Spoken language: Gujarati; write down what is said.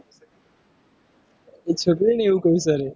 એ છોકરીને એવું કહી કાઢ્યું.